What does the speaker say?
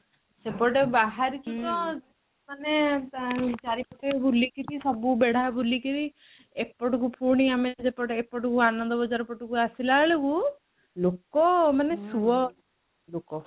ସେପଟେ ବାହାରିଛୁ ତ ମାନେ ଚାରିପଟେ ବୁଲିକିରି ସବୁ ବେଢ଼ା ବୁଲିକିରି ଏପଟକୁ ପୁଣି ଆମେ ସେପଟେ ଏପଟକୁ ଆନନ୍ଦ ବଜ଼ାର ପଟକୁ ଆସିଲା ବେଳକୁ ଲୋକ ମାନେ ସୁଅ ଲୋକ